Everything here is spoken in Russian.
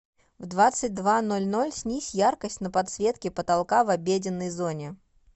в двадцать два ноль ноль снизь яркость на подсветке потолка в обеденной зоне